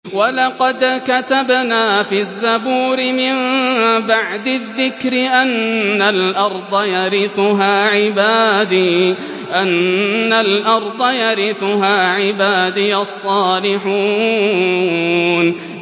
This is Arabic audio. وَلَقَدْ كَتَبْنَا فِي الزَّبُورِ مِن بَعْدِ الذِّكْرِ أَنَّ الْأَرْضَ يَرِثُهَا عِبَادِيَ الصَّالِحُونَ